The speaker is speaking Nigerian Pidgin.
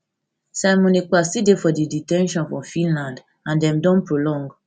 simon ekpa still dey for di de ten tion for finland and dem don prolong